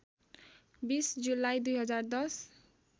२० जुलाई २०१०